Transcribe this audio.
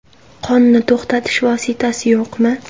Qonni to‘xtatish vositasi yo‘qmi?